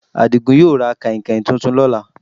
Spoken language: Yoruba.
Adigún yóò ra kànhìnkàhìn tuntun lọ́là